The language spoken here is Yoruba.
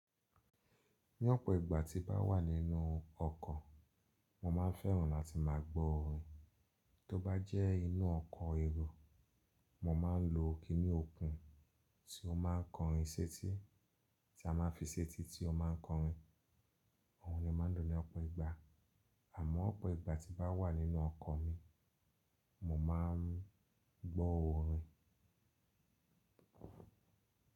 Ní ọ̀pọ̀ ìgbà tí bá wà nínú ọkọ̀, mo máa ń fẹ́ràn láti máa gbó orin. Tó bá jẹ́ inú ọkọ̀ èrò, mo máa ń lo kiní okùn tí ó máa ń kọrin séńtì, tí a máa ń fi séńtì tí ó máa ń kọrin. Àwọn ènìyàn máa ń lò ní ọ̀pọ̀ ìgbà. Àmọ́ ọ̀pọ̀ ìgbà tí mbá wà nínú ọkọ̀ mi, mo máa ń gbọ́ orin.